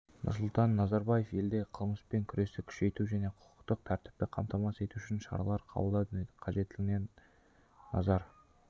нұрсұлтан назарбаев елдегі қылмыспен күресті күшейту және құқықтық тәртіпті қамтамасыз ету үшін шаралар қабылдау қажеттігіне назар